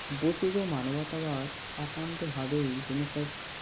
বস্তুত মানবতাবাদ একান্ত ভাবেই Renaissance